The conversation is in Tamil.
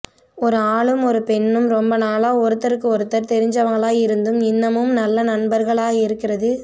ஒரு ஆளும் ஒரு பொண்ணும் ரொம்ப நாளா ஒருத்தருக்கு ஒருத்தர் தெரிஞ்சவங்களா இருந்தும் இன்னமும் நல்ல நண்பர்களா இருக்கறது